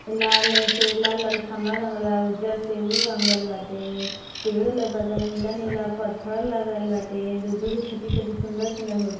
ये लाल से लाल लाल खब्बा रंगल बा उज्जड से ऊह रंगल बाटे पेड़ लोकता नीला नीला पत्थर लागल बाटे दू दू गो छोटी-छोटी सुन्दर सुन्दर मूर्ति --